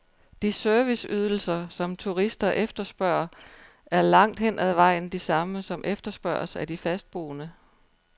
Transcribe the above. De serviceydelser, som turister efterspørger, er langt hen ad vejen de samme, som efterspørges af de fastboende.